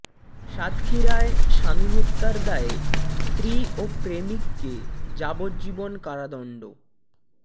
সাতক্ষীরায় স্বামী হত্যার দায়ে স্ত্রী ও প্রেমিককে যাবজ্জীবন কারাদণ্ড